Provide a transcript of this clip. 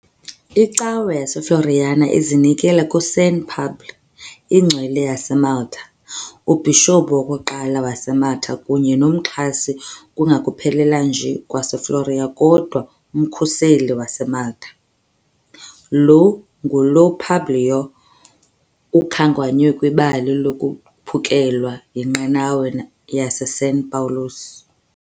ICawe yaseFloriana izinikele kuSaint Publju, ingcwele yaseMalta, ubhishophu wokuqala waseMalta kunye nomxhasi kungekuphela nje kweFloriana kodwa umkhuseli waseMalta, lo ngulo uPubliyo ukhankanywe kwibali lokuphukelwa yinqanawa yaseSan Pawulos.